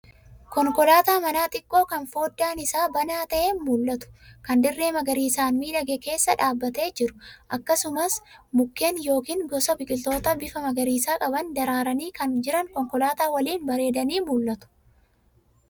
Konkolaataa manaa xiqqoo kan foddaan isaa banaa ta'ee mul'atu, kan dirree magariisaan miidhage keessa dhaabbatee jiru. Akkasumas mukeen yookaan gosa biqiltootaa bifa magariisa qaban, daraaranii kan jiran konkolaataa waliin bareedanii mul'atu.